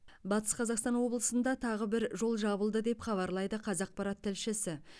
батыс қазақстан облысында тағы бір жол жабылды деп хабарлайды қазақпарат тілшісі